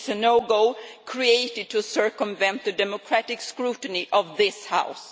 It is a no go created to circumvent the democratic scrutiny of this House.